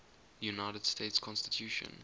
united states constitution